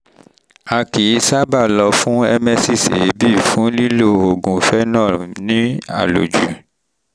a kì í sábà lọ fún emesis èébì fún lílo oògùn phenol ní àlòjù